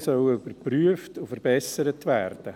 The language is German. Zuständigkeiten sollen überprüft und verbessert werden.